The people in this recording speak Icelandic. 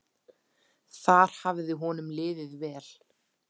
Þar hafði honum liðið vel.